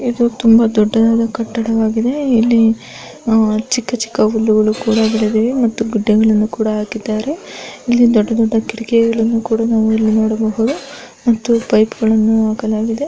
ಇದು ತುಂಬಾ ದೊಡ್ಡದಾದ ಕಟ್ಟಡವಾಗಿದೆ ಇಲ್ಲಿ ಚಿಕ್ಕ ಚಿಕ್ಕ ಹುಲ್ಲುಗಳು ಕೂಡ ಬೆಳೆದಿದೆ ಮತ್ತು ಗಿಡಗಳನ್ನು ಕೂಡ ಹಾಕಿದ್ದಾರೆ ಇಲ್ಲಿ ದೊಡ್ಡ ದೊಡ್ಡ ಕಿಟಕಿಗಳನ್ನು ಕೂಡ ನಾವಿಲ್ಲಿ ನೋಡಬಹುದು ಮತ್ತು ಪೈಪ್ಗಳನ್ನು ಹಾಕಲಾಗಿದೆ.